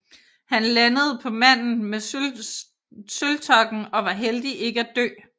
Han landede på Manden med sølvtokken og var heldig ikke at dø